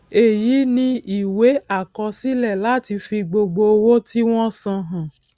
èyí ni ìwé àkọsílẹ láti fi gbogbo owó tí wọn san hàn